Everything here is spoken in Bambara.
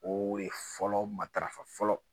O re fɔlɔ matarafa fɔlɔ